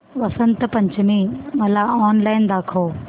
वसंत पंचमी मला ऑनलाइन दाखव